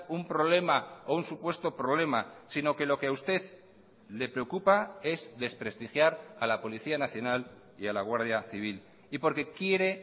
un problema o un supuesto problema sino que lo que a usted le preocupa es desprestigiar a la policía nacional y a la guardia civil y porque quiere